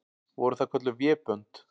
Voru það kölluð vébönd.